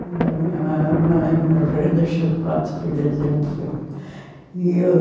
Quando a minha mamãe morreu, deixou quatro filhas e um filho. E...